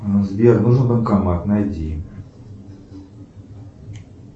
сбер нужен банкомат найди